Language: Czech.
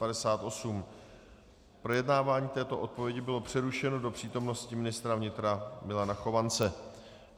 Projednávání této odpovědi bylo přerušeno do přítomnosti ministra vnitra Milana Chovance.